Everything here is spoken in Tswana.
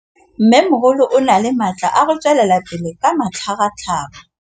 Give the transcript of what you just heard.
Mmêmogolo o na le matla a go tswelela pele ka matlhagatlhaga.